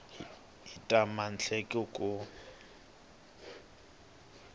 hi ta ya emahlweni ku